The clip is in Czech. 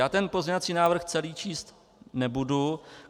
Já ten pozměňovací návrh celý číst nebudu.